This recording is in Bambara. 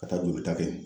Ka taa jolita kɛ